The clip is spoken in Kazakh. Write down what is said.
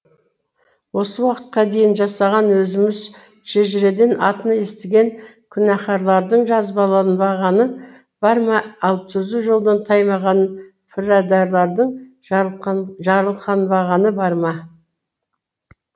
осы уақытқа дейін жасаған өзіміз шежіреден атын естіген күнәхарлардың жазаланбағаны бар ма ал түзу жолдан таймаған пірадарлардың жарылқанбағаны бар ма